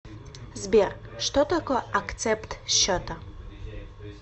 сбер что такое акцепт счета